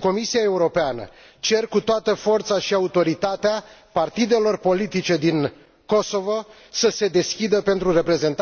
Comisia Europeană cer cu toată forța și autoritatea, partidelor politice din Kosovo să se deschidă pentru reprezentarea multietnică